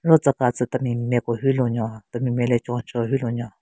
Ro tsü ka tsü temi nme ku hyu lunyo temi nme le chon cheo hyu lunyo.